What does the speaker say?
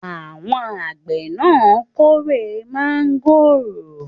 Àwọn àgbẹ̀ náà kórè mángòrò?